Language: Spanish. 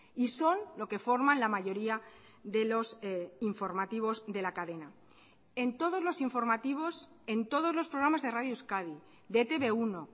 y son lo que forman la mayoría de los informativos de la cadena en todos los informativos en todos los programas de radio euskadi de e te be uno